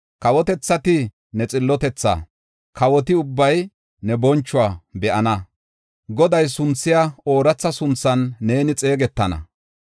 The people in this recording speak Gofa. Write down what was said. Kawotethati ne xillotethaa, kawoti ubbay ne bonchuwa be7ana. Goday sunthiya ooratha sunthan neeni xeegetana.